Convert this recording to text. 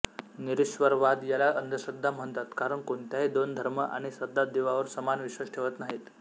निरीश्वरवाद याला अंधश्रद्धा म्हणतात कारण कोणत्याही दोन धर्म आणि श्रद्धा देवावर समान विश्वास ठेवत नाहीत